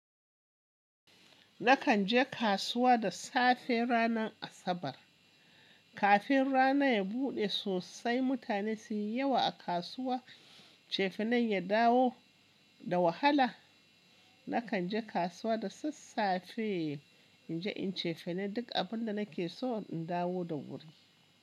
Nakan je kasuwa da safe ranar Asabar. Kafin rana ya buɗe sosai, mutane suyi yawa a kasuwa, cefanen ya dawo da wahala. Nakan je kasuwa da sassafe in je inyi cefane duk abin da nake so in dawo da wuri.